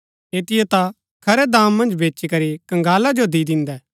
ऐतिओ ता खरै दाम मन्ज बेचीकरी कंगाला जो दी दिन्दै